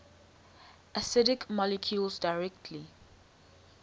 acidic molecules directly